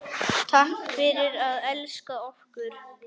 Takk fyrir að elska okkur.